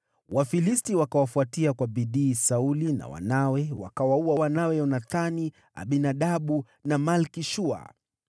Wafilisti wakawafuatia kwa bidii Sauli na wanawe, wakawaua Yonathani, Abinadabu na Malki-Shua.